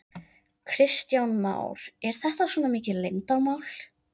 Kristján Már: Er þetta svona mikið leyndarmál?